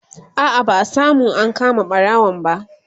a'a ba'a samu an kama ɓarawon ba